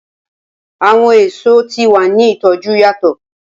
Awọn eso ti wa ni itoju yatọ.